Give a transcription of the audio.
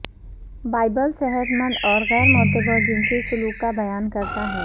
Bible صحت مند اور غیر معتبر جنسی سلوک کا بیان کرتا ہے